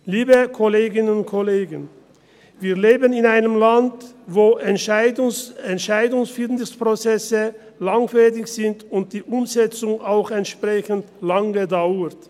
Liebe Kolleginnen und Kollegen, wir leben in einem Land, wo Entscheidfindungsprozesse langfädig sind und die Umsetzung auch entsprechend lange dauert.